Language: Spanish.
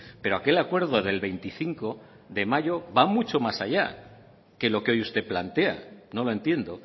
pero aquel acuerdo del veinticinco de mayo va mucho más allá que lo que hoy usted plantea no lo entiendo